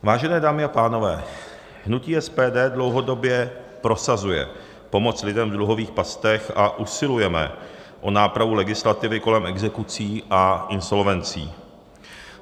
Vážené dámy a pánové, hnutí SPD dlouhodobě prosazuje pomoc lidem v dluhových pastech a usilujeme o nápravu legislativy kolem exekucí a insolvencí.